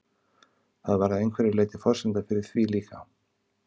Það var að einhverju leyti forsenda fyrir því líka.